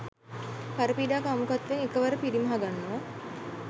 පරපීඩා කාමුකත්වයත් එකවර පිරිමහගන්නවා.